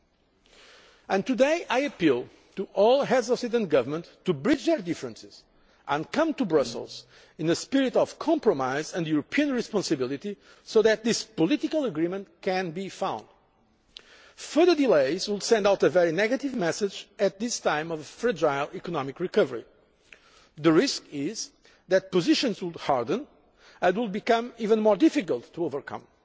So today, I appeal to all Heads of State and Government to bridge their differences and come to Brussels in a spirit of compromise and European responsibility, so that this political agreement can be found. Further delays will send out a very negative message at this time of fragile economic recovery. The risk is that positions will harden and that the differences will be even more difficult to overcome.